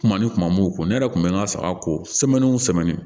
Kuma ni kuma m'u ko ne yɛrɛ kun bɛ n ka saga ko sɛmɛni o sɛmɛni